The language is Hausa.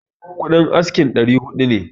Kuɗin askin ɗari hudu ne